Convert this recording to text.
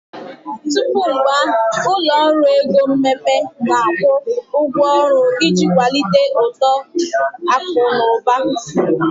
Tupu mgbe ahụ, ụlọ ọrụ ego mmepe na-akwụ ụgwọ ọrụ iji kwalite uto akụ na ụba.